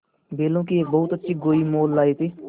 बैलों की एक बहुत अच्छी गोई मोल लाये थे